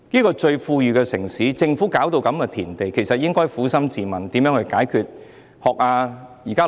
作為最富裕的城市，政府卻搞到如斯田地，它應該撫心自問如何解決當前問題。